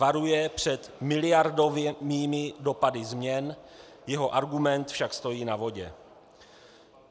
Varuje před miliardovými dopady změn, jeho argument však stojí na vodě.